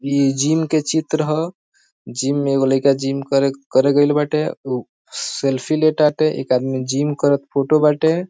ई जिम के चित्र ह जिम में एगो लइका जिम करे करे गइल बाटे ऊ सेल्फी ले ताटे एक आदमी जिम करत फोटो बाटे।